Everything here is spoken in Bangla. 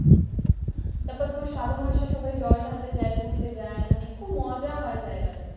তারপর তোমার শ্রাবণ মাসে সবাই জল ঢালতে যায় হেঁটে যায় খুব মজা হয় জায়গাটায়।